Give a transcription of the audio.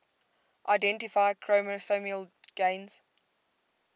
identify chromosomal gains